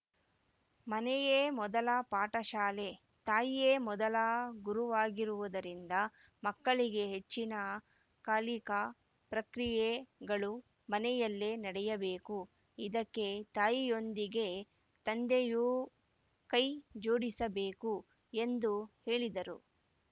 ಮನೆಯೇ ಮೊದಲ ಪಾಠಶಾಲೆ ತಾಯಿಯೇ ಮೊದಲ ಗುರುವಾಗಿರುವುದರಿಂದ ಮಕ್ಕಳಿಗೆ ಹೆಚ್ಚಿನ ಕಾಲಿಕಾ ಪ್ರಕ್ರಿಯೆಗಳು ಮನೆಯಲ್ಲಿ ನಡೆಯಬೇಕು ಇದಕ್ಕೆ ತಾಯಿಯೊಂದಿಗೆ ತಂದೆಯೂ ಕೈ ಜೋಡಿಸಬೇಕು ಎಂದು ಹೇಳಿದರು